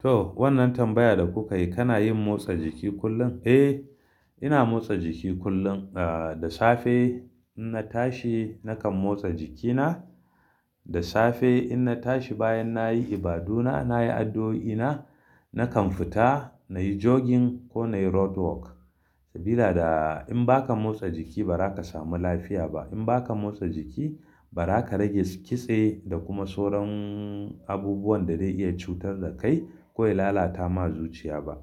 To, wannan tambaya da kuka yi, kana yin motsa jiki kullum? Eh, ina motsa jiki kullum, ah da safe in na tashi nakan motsa jiki na. Da safe in na tashi, bayan nayi ibaduna, nayi addu'o'i na, nakan fita, nayi jogging ko nayi roadwork. Sabila da, in baka motsa jiki, ba zaka samu lafiya ba. In baka motsa jiki, ba ra ka rage kitse, da kuma sauran abubuwan da zai iya cutar da, kai ko lalata ma zuciya ba.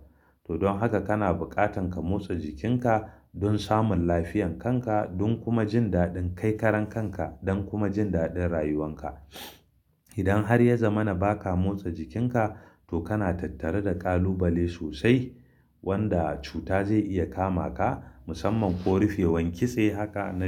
To don haka, kana buƙatan ka motsa jikinka don samun lafiyan kan ka, don kuma jin daɗin kai karan kan ka, don kuma jin daɗin rayuwan ka. Idan har ya zama na ba ka motsa jikinka, to kana tattari da ƙalubale sosai wanda cuta zai iya kama ka, musamman ko rufewan kitse haka na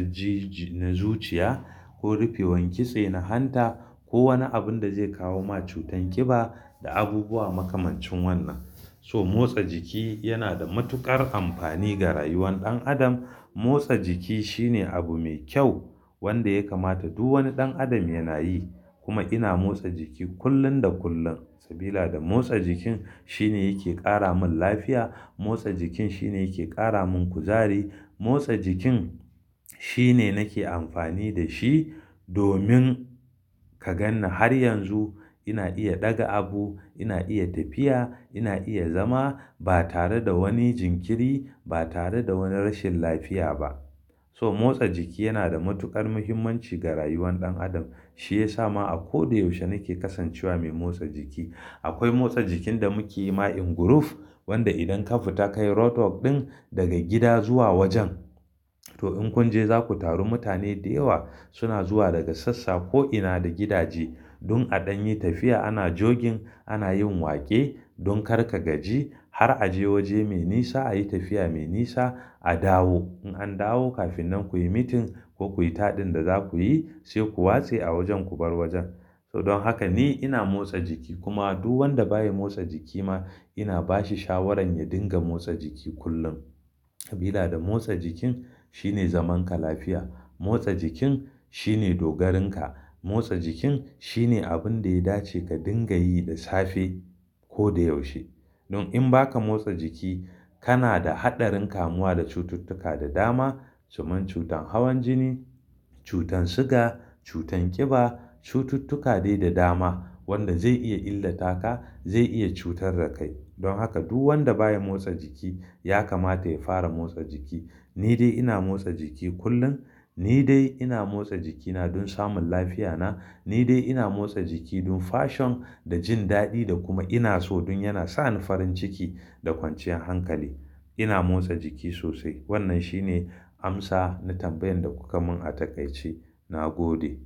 zuciya, ko rufewan kitse na hanta, ko wani abun da zai kawo ma cutar ƙiba, da abubuwa makamancin wannan. So motsa jiki yana da matuƙar amfani ga rayuwan ɗan adam. Motsa jiki shine abu me kyau, wanda ya kamata duk wani ɗan adam yana yi. Kuma ina motsa jiki kullum da kullum, sabila da motsa jikin shine yake ƙara min lafiya. Motsa jikin shine yake ƙara min kuzari. Motsa jikin, shine nake amfani da shi, domin ka gan ni har yanzu ina iya ɗaga abu, ina iya tafiya, ina iya zama, ba tare da wani jinkiri, ba tare da wani rashin lafiya ba. So motsa jiki yana da matuƙar muhimmanci ga rayuwan ɗan adam. Shi ya sa ma a ko da yaushe nake kasancewa mai motsa jiki. Akwai motsa jikin da muke yi ma in guruf, wanda idan ka fita ka yi roadwork ɗin, daga gida zuwa wajen, to in kun je za ku taru mutane da yawa, suna zuwa daga sassa, ko'ina da gidaje don a ɗan yi tafiya. Ana jogging, ana yin waƙe don kar ka gaji, har a je waje mai nisa, a yi tafiya mai nisa, a dawo. In an dawo kafin nan kuyi meeting, ko kuyi taɗin da za ku yi, sai ku watse a wajen, ku bar wajen. To, don haka ni ina motsa jiki, kuma duk wanda baya motsa jiki ma, ina ba shi shawarar ya dinga motsa jiki kullum, sabila da motsa jikin, shine zaman ka lafiya. Motsa jikin, shine dogarinka. Motsa jikin shine abun da ya dace ka dinga yi da safe ko da yaushe. Don in baka motsa jiki, kana da haɗarin kamuwa da cututtuka da dama, kamar cutar hawan jini, cutar siga, cutar ƙiba, cututtuka dai da dama, wanda zai iya illata ka, zai iya cutar da kai. Don haka duk wanda baya motsa jiki ya kamata ya fara motsa jiki. Ni dai ina motsa jiki kullum. Ni dai ina motsa jikina don samun lafiyana. Ni dai ina motsa jiki don fashion, da jin daɗi, da kuma ina so don yana sa ni farin ciki, da kwanciyar hankali. Ina motsa jiki sosai. Wannan shine amsa na tambayan da kuka mun a takaice. Na gode.